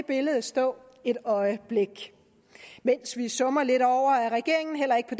billede stå et øjeblik mens vi summer lidt over at regeringen heller ikke på